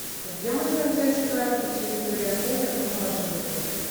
а где можно взять карту территории отеля в бумажном варианте